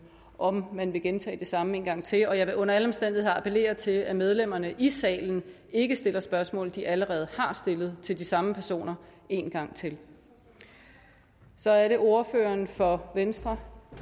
om man vil gentage det samme en gang til og jeg vil under alle omstændigheder appellere til at medlemmerne i salen ikke stiller spørgsmål de allerede har stillet til de samme personer en gang til så er det ordføreren for venstre